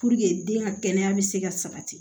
den ka kɛnɛya bɛ se ka sabati